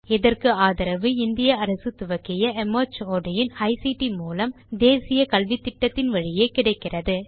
இதற்கு ஆதரவு இந்திய அரசு துவக்கிய மார்ட் இன் ஐசிடி மூலம் தேசிய கல்வித்திட்டத்தின் வழியே கிடைக்கிறது